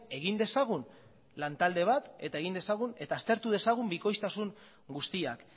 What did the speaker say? egin dezagun lan talde bat eta egin dezagun eta aztertu dezagun bikoiztasun guztiak